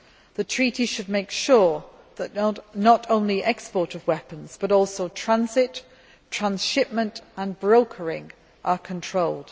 The treaty should make sure that not only exports of weapons, but also transit, transhipment and brokering are controlled.